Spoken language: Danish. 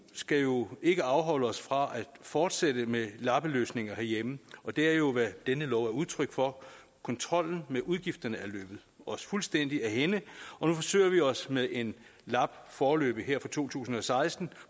skal jo ikke afholde os fra at fortsætte med lappeløsninger herhjemme og det er jo hvad denne lov er udtryk for kontrollen med udgifterne er løbet os fuldstændig af hænde og nu forsøger vi også med en lap foreløbig for to tusind og seksten